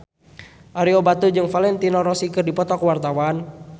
Ario Batu jeung Valentino Rossi keur dipoto ku wartawan